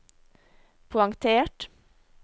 poengtert